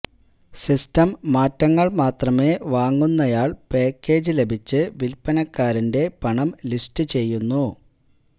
system മാറ്റങ്ങൾ മാത്രമേ വാങ്ങുന്നയാൾ പാക്കേജ് ലഭിച്ച് വിൽപ്പനക്കാരന്റെ പണം ലിസ്റ്റ് ചെയ്യുന്നു